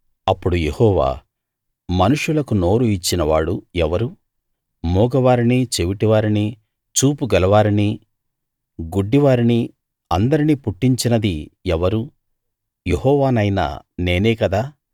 అప్పుడు యెహోవా మనుషులకు నోరు ఇచ్చిన వాడు ఎవరు మూగ వారిని చెవిటి వారిని చూపు గలవారిని గుడ్డి వారిని అందరినీ పుట్టించినది ఎవరు యెహోవానైన నేనే గదా